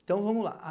Então, vamos lá.